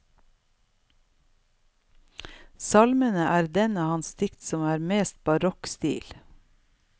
Salmene er den av hans dikt som har mest barokk stil.